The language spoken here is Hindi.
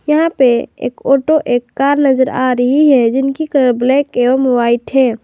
यहां पर एक ऑटो एक कर नजर आ रही है जिनकी कलर ब्लैक एवं व्हाइट है।